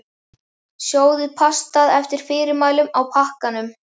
Sjóðið pastað eftir fyrirmælum á pakkanum.